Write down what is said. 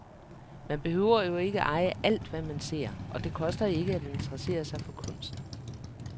Man behøver jo ikke eje alt, hvad man ser, og det koster ikke at interessere sig for kunst.